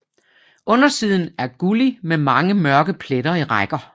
Undersiden er gullig med mange mørke pletter i rækker